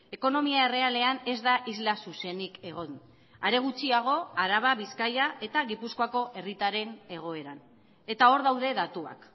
ekonomia errealean ez da isla zuzenik egon are gutxiago araba bizkaia eta gipuzkoako herritarren egoeran eta hor daude datuak